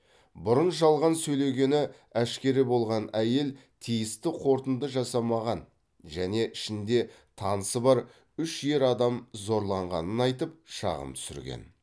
бұрын жалған сөйлегені әшкере болған әйел тиісті қорытынды жасамаған және ішінде танысы бар үш ер адам зорлағанын айтып шағым түсірген